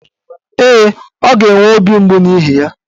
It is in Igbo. Ee, ọ ga-enwe obi mgbu n'ihi ya.